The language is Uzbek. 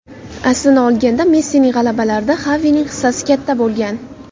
Aslini olganda Messining g‘alabalarida Xavining hissasi katta bo‘lgan.